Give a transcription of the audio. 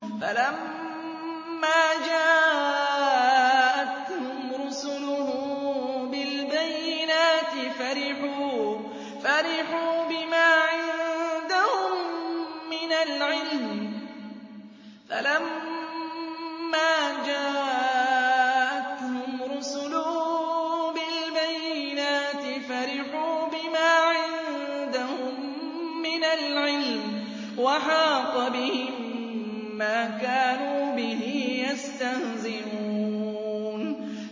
فَلَمَّا جَاءَتْهُمْ رُسُلُهُم بِالْبَيِّنَاتِ فَرِحُوا بِمَا عِندَهُم مِّنَ الْعِلْمِ وَحَاقَ بِهِم مَّا كَانُوا بِهِ يَسْتَهْزِئُونَ